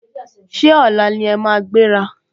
Ṣé ọ̀la ni ẹ máa gbéra?